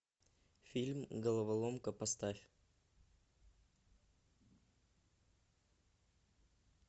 фильм головоломка поставь